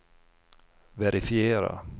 verifiera